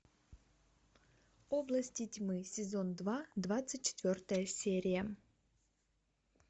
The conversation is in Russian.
области тьмы сезон два двадцать четвертая серия